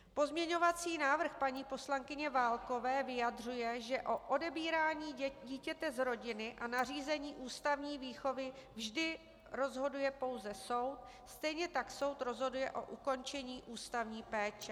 Pozměňovací návrh paní poslankyně Válkové vyjadřuje, že o odebírání dítěte z rodiny a nařízení ústavní výchovy vždy rozhoduje pouze soud, stejně tak soud rozhoduje o ukončení ústavní péče.